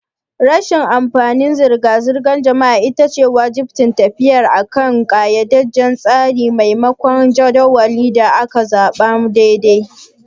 Rashin amfanin zirga-zirgar jama'a ita ce wajibcin tafiya akan ƙayyadadden tsari maimakon jadawalin da aka zaɓa na ɗaiɗaiku.